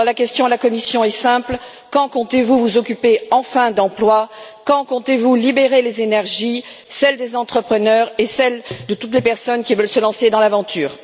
La question à la Commission est simple quand comptez vous vous occuper enfin d'emploi? Quand comptez vous libérer les énergies, celles des entrepreneurs et celles de toutes les personnes qui veulent se lancer dans l'aventure?